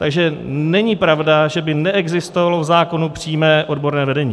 Takže není pravda, že by neexistovalo v zákonu přímé odborné vedení.